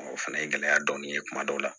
o fana ye gɛlɛya dɔɔni ye kuma dɔw la